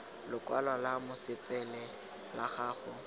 lokwalo lwa mosepele la gago